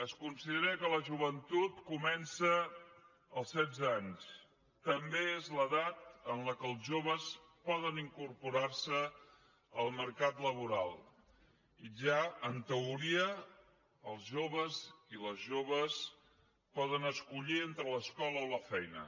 es considera que la joventut comença als setze anys també és l’edat en què els joves poden incorporar se al mercat laboral i ja en teoria els joves i les joves poden escollir entre l’escola o la feina